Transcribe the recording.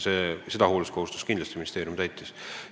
Ja hoolsuskohustust ministeerium täitis.